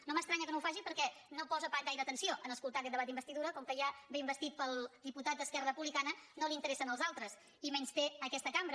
no m’estranya que no ho faci perquè no posa gaire atenció a escoltar aquest debat d’investidura com que ja ve investit pel diputat d’esquerra republicana no li interessen els altres i menysté aquesta cambra